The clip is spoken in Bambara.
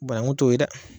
Bananku t'o ye dɛ